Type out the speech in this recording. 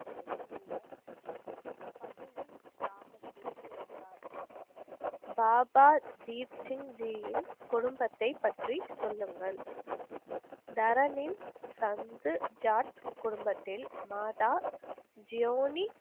கிராமத்தில் பிறந்தார். பாபா தீப்சிங்ஜியின் குடும்பத்தைப் பற்றி சொல்லுங்கள். தரனின் சந்து ஜாட் குடும்பத்தில் மாதா ஜியோனி,